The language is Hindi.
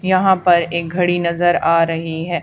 यहां पर एक घड़ी नजर आ रही है।